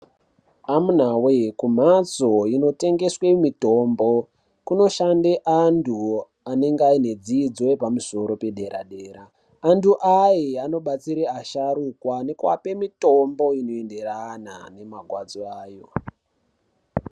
Amunawee kumhatso inotengeswe mitombo kunoshande antu anenge ane dzidzo yepamusoro pedera-dera. Antu aye anobatsire asharukwa nekuape mitombo inoenderana nemagwadzo ayo.